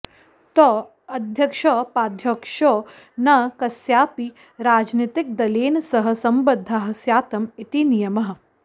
तौ अध्यक्षौपाध्यक्षौ न कस्यापि राजनीतिकदलेन सह सम्बद्धाः स्यातम् इति नियमः